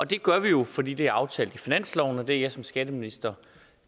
det gør vi jo fordi det er aftalt i finansloven og det er jeg som skatteminister